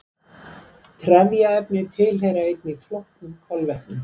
Trefjaefni tilheyra einnig flóknum kolvetnum.